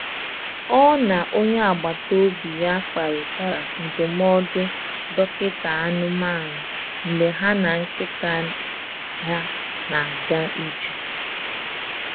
Ọ na onye agbata obi ya kparịtara ndụmọdụ dọkịta anụmanụ mgbe ha na nkịta ha na-aga ije.